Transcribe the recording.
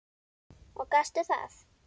Og gastu það?